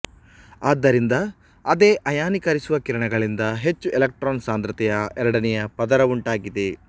ಆದ್ದರಿಂದ ಅದೇ ಅಯಾನೀಕರಿಸುವ ಕಿರಣಗಳಿಂದ ಹೆಚ್ಚು ಎಲೆಕ್ಟ್ರಾನ್ ಸಾಂದ್ರತೆಯ ಎರಡನೆಯ ಪದರವುಂಟಾಗಿದೆ